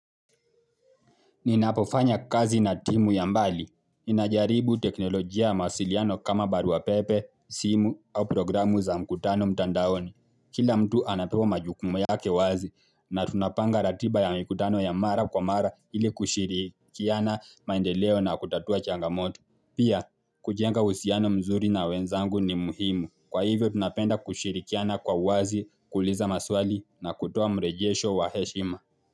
Ninapofanya kazi na timu ya mbali. Ninajaribu teknolojia mawasiliano kama baruapepe, simu au programu za mkutano mtandaoni. Kila mtu anapewa majukumu yake wazi na tunapanga ratiba ya mikutano ya mara kwa mara ili kushirikiana maendeleo na kutatua changamoto. Pia, kujenga uhusiano mzuri na wenzangu ni muhimu. Kwa hivyo, tunapenda kushirikiana kwa wazi, kuuliza maswali na kutoa mrejesho wa heshima.